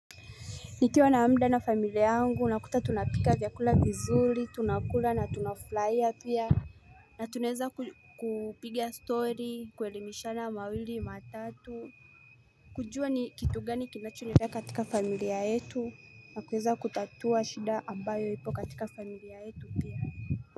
Nikiwa na muda na familia yangu unakuta tunapika vyakula vizuri tunakula na tunafurahia pia Natunaweza kupiga story kuelimishana mawili matatu kujua ni kitu gani kinachoendelea katika familia yetu na kuweza kutatua shida ambayo ipo katika familia yetu pia.